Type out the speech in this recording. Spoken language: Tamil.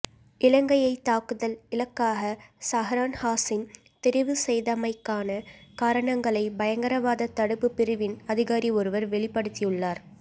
இலங்கையை தாக்குதல் இலக்காக சஹ்ரான் ஹாசிம் தெரிவு செய்தமைக்கான காரணங்களை பயங்கரவாத தடுப்பு பிரிவின் அதிகாரி ஒருவர் வெளிப்படுத்தியுள்ளார்